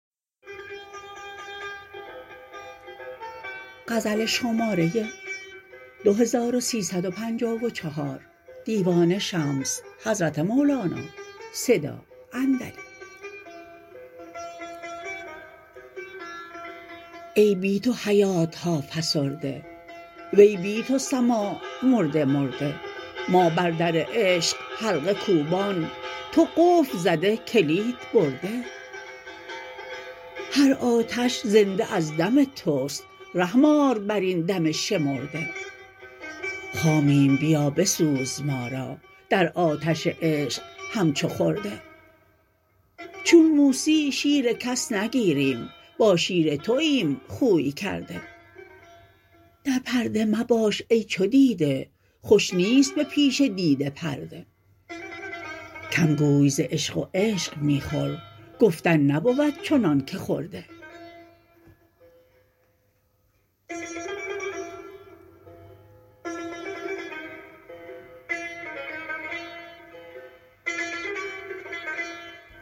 ای بی تو حیات ها فسرده وی بی تو سماع مرده مرده ما بر در عشق حلقه کوبان تو قفل زده کلید برده هر آتش زنده از دم توست رحم آر بر این دم شمرده خامیم بیا بسوز ما را در آتش عشق همچو خرده چون موسی شیر کس نگیریم با شیر توایم خوی کرده در پرده مباش ای چو دیده خوش نیست به پیش دیده پرده کم گوی ز عشق و عشق می خور گفتن نبود چنانک خورده